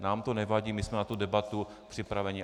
Nám to nevadí, my jsme na tu debatu připraveni.